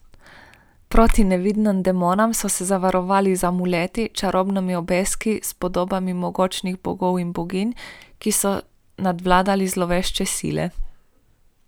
Proti nevidnim demonom so se zavarovali z amuleti, čarobnimi obeski s podobami mogočnih bogov in boginj, ki so nadvladali zlovešče sile.